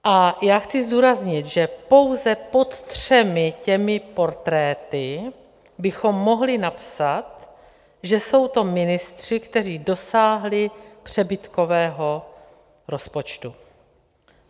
A já chci zdůraznit, že pouze pod třemi těmi portréty bychom mohli napsat, že jsou to ministři, kteří dosáhli přebytkového rozpočtu.